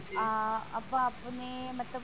ah ਆਪਾਂ ਆਪਣੇ ਮਤਲਬ